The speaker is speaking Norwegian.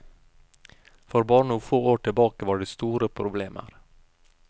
For bare noen få år tilbake var det store problemer.